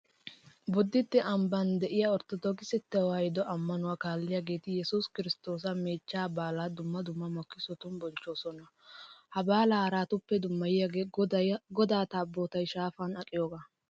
Bodditte ambban de'iya Orttodookise tewaahiduwa ammanuwa kaalliyageeti yesuus kiristtoosa meechchaa baalaa dumma dumma makkisotun bonchchoosona. Ha baalaa haratuppep dummayiyagee godaa taabootay shaafan aqiyogaa.